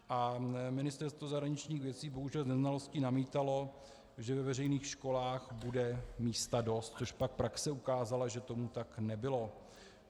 A Ministerstvo zahraničních věcí bohužel z neznalosti namítalo, že ve veřejných školách bude místa dost, což pak praxe ukázala, že tomu tak nebylo.